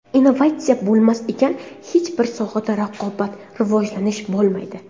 Innovatsiya bo‘lmas ekan, hech bir sohada raqobat, rivojlanish bo‘lmaydi.